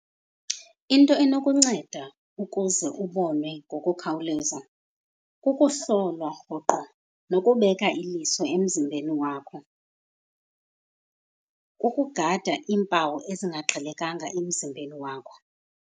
Into enokunceda ukuze ubonwe ngokukhawuleza kukuhlolwa rhoqo nokubeka iliso emzimbeni wakho. Kukugada iimpawu ezingaqhelekanga emzimbeni wakho.